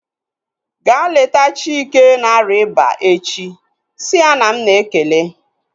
Ga leta Chike na-arịa ịba echi! Si ya na m na-ekele